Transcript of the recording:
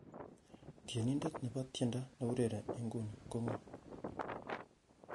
tienindet nebo tiendo neiurereni inguni ko ng'o